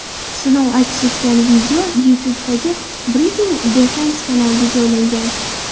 Sinov aks etgan video YouTube’dagi Breaking Defense kanaliga joylangan .